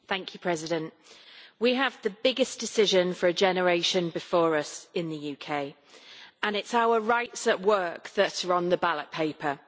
Madam President, we have the biggest decision for a generation before us in the UK and it is our rights at work that are on the ballot paper.